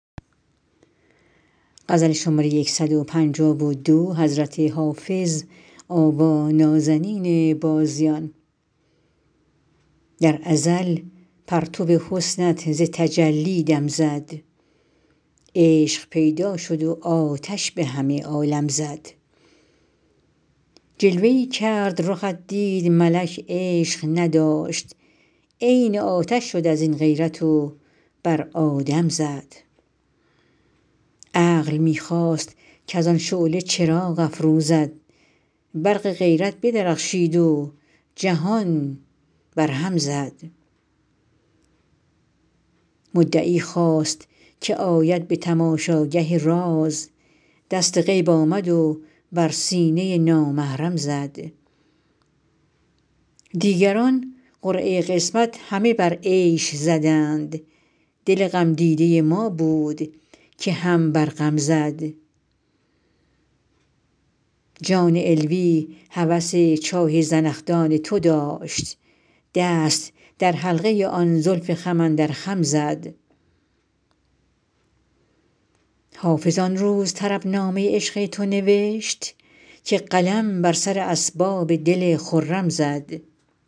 در ازل پرتو حسنت ز تجلی دم زد عشق پیدا شد و آتش به همه عالم زد جلوه ای کرد رخت دید ملک عشق نداشت عین آتش شد از این غیرت و بر آدم زد عقل می خواست کز آن شعله چراغ افروزد برق غیرت بدرخشید و جهان برهم زد مدعی خواست که آید به تماشاگه راز دست غیب آمد و بر سینه نامحرم زد دیگران قرعه قسمت همه بر عیش زدند دل غمدیده ما بود که هم بر غم زد جان علوی هوس چاه زنخدان تو داشت دست در حلقه آن زلف خم اندر خم زد حافظ آن روز طربنامه عشق تو نوشت که قلم بر سر اسباب دل خرم زد